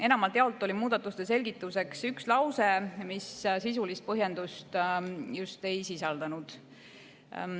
Enamalt jaolt oli muudatuste selgituseks üks lause, mis sisulist põhjendust ei sisaldanud.